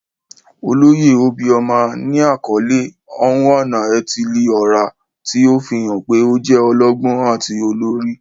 Oloye obioma ni akọle "Onwa-na-etili-ora," ti o fihan pe o jẹ ọlọgbọn ati olori.